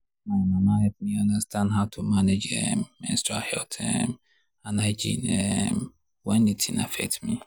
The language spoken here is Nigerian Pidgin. my mama help me understand how to manage um menstrual health um and hygiene um when the thing affect me.